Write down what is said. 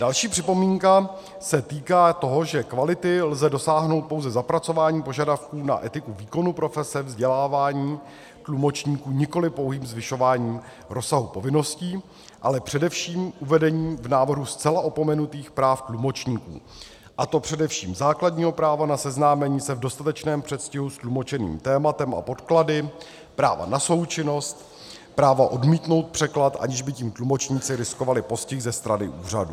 Další připomínka se týká toho, že kvality lze dosáhnout pouze zapracováním požadavků na etiku výkonu profese, vzdělávání tlumočníků, nikoli pouhým zvyšováním rozsahu povinností, ale především uvedením v návrhu zcela opomenutých práv tlumočníků, a to především základního práva na seznámení se v dostatečném předstihu s tlumočeným tématem a podklady, práva na součinnost, práva odmítnout překlad, aniž by tím tlumočníci riskovali postih ze strany úřadů.